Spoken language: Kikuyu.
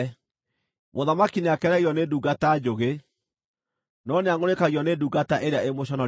Mũthamaki nĩakenagio nĩ ndungata njũgĩ, no nĩangʼũrĩkagio nĩ ndungata ĩrĩa ĩmũconorithagia.